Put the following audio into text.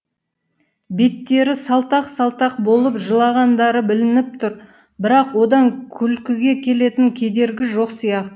беттері салтақ салтақ болып жылағандары білініп тұр бірақ одан күлкіге келетін кедергі жоқ сияқты